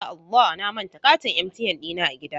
Ya Allah!, na manta katin ATM dina a gida.